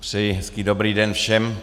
Přeji hezký dobrý den všem.